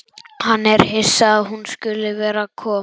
Hann er hissa að hún skuli vera að koma.